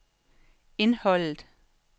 indholdet